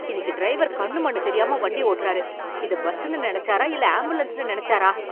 இன்னிக்கு டிரைவர் கண்ணு மண்ணு தெரியாம வண்டி ஓட்டுறாரு. இத பஸ்ஸுனு நினைச்சாரா இல்ல ஆம்புலன்ஸ்னு நினைச்சாரா?